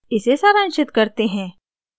इसे सारांशित करते हैं